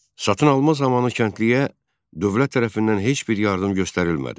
Satın alma zamanı kəndliyə dövlət tərəfindən heç bir yardım göstərilmədi.